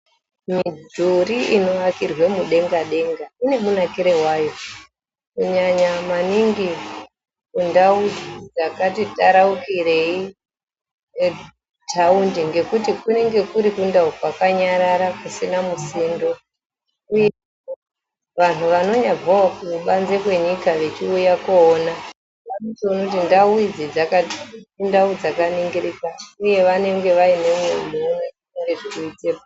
Mudhuri inovakirwa mudenga denga inemunakire wayo kunyanya maningi kundau yakati taraukirei yeku thawundi ngekuti kunenge kuri kundau kwakanyarara kusina musindo uye vanhu vanonyabvawo kubanze kwenyika vechiuya kunoona vonona kuti ndau dzakaningirikika uye vanenge vaineumwe muwono wezvirikuitika